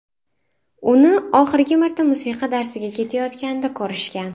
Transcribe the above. Uni oxirgi marta musiqa darsiga ketayotganida ko‘rishgan.